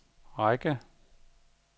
række